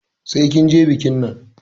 Sai kin je bikin nan!